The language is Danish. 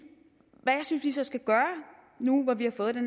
hvad jeg synes vi så skal gøre nu hvor vi har fået den